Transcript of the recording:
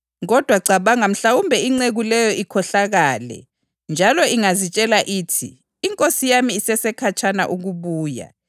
Kodwa cabanga mhlawumbe inceku leyo ikhohlakele njalo ingazitshela ithi, ‘Inkosi yami isesekhatshana ukubuya,’